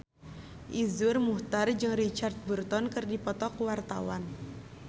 Iszur Muchtar jeung Richard Burton keur dipoto ku wartawan